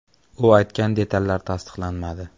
“U aytgan detallar tasdiqlanmadi.